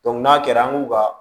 n'a kɛra an k'u ka